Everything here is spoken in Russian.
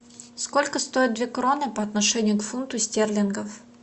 сколько стоит две кроны по отношению к фунту стерлингов